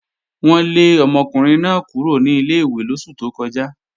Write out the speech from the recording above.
Wọ́n lé ọmọkùnrin náà kúrò ní ilé-ìwé lóṣù tó kọjá